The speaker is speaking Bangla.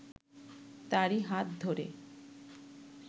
তারই হাত ধরে